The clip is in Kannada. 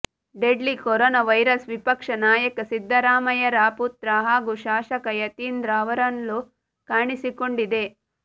ಡೆಡ್ಲಿ ಕೊರೊನಾ ವೈರಸ್ ವಿಪಕ್ಷ ನಾಯಕ ಸಿದ್ದರಾಮಯ್ಯರ ಪುತ್ರ ಹಾಗೂ ಶಾಸಕ ಯತೀಂದ್ರ ಅವರಲ್ಲೂ ಕಾಣಿಸಿಕೊಂಡಿದೆ